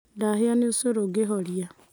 Ndahĩa nĩ ũcũrũngĩũhoria